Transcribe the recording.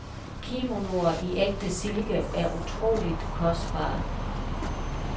Kimonoer i ægte silke er utroligt kostbare.